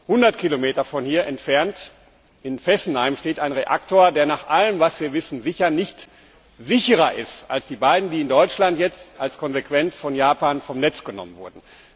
100 km von hier entfernt, in Fessenheim, steht ein Reaktor, der nach allem, was wir wissen, sicher nicht sicherer ist als die beiden, die jetzt in Deutschland als Konsequenz der Vorkommnisse in Japan vom Netz genommen wurden.